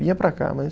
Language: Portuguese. Vinha para cá, mas...